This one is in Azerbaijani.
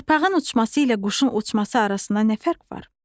Yarpağın uçması ilə quşun uçması arasında nə fərq var?